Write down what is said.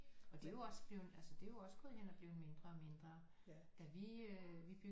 Og det er jo også bleven altså det er jo også gået hen og blevet mindre og mindre at vi øh vi